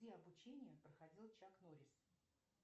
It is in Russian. где обучение проходил чак норрис